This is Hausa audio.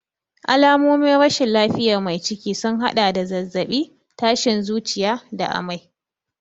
Alamomin rashin lafiyar mai ciki sun haɗa da zazzabi, tashin zuciya da amai.